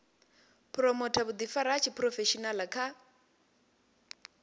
phuromotha vhuḓifari ha tshiphurofeshenaḽa kha